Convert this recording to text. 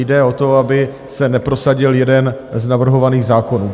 Jde o to, aby se neprosadil jeden z navrhovaných zákonů.